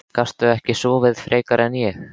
Gastu ekki sofið frekar en ég?